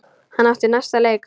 Hann átti næsta leik.